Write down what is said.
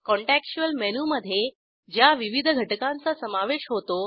contextual मेनूमधे ज्या विविध घटकांचा समावेश होतो